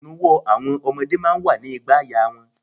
Inuwo ọmọdé máa ń wà ní ìgbàaya wọn.